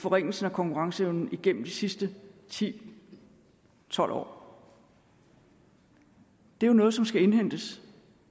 forringelsen af konkurrenceevnen igennem de sidste ti til tolv år er jo noget som skal indhentes